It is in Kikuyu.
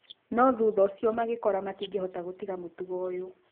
No thutha ũcio magekora matingĩhota gũtiga mũtugo ũyũ